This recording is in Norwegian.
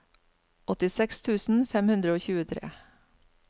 åttiseks tusen fem hundre og tjuetre